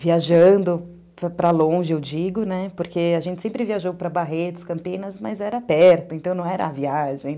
viajando para longe, eu digo, né, porque a gente sempre viajou para Barretos, Campinas, mas era perto, então não era a viagem.